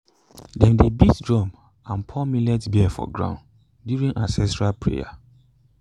dem dey beat drum and pour millet beer for ground during ancestral prayer.